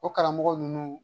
O karamɔgɔ ninnu